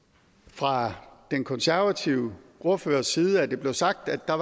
fra den konservative ordførers side at det blev sagt at der